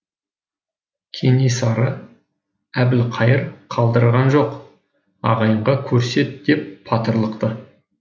кенесары әбілқайыр қалдырған жоқ ағайынға көрсет деп батырлықты